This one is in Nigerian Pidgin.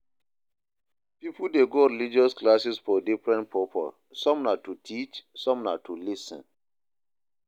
Pipo de go religious classes for different purpose some na to teach some na to lis ten